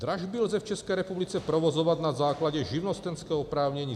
Dražby lze v České republice provozovat na základě živnostenského oprávnění.